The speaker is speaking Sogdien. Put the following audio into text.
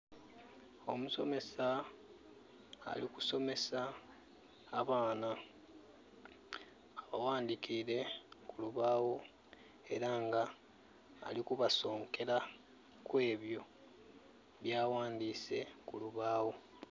Omusomesa ali kusomesa abaana. Abawandikire kulubawo era nga ali kubasonkera kwebyo bya wandise kulubawo